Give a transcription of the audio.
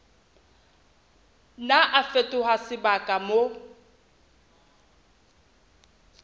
nna a fetoha sebaka moo